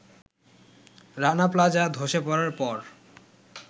Rana plaza ধসে পড়ার পর